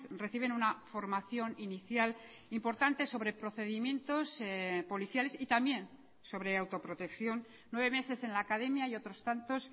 reciben una formación inicial importante sobre procedimientos policiales y también sobre autoprotección nueve meses en la academia y otros tantos